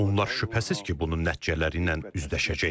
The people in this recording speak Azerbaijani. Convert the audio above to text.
Onlar şübhəsiz ki, bunun nəticələriylə üzləşəcəklər.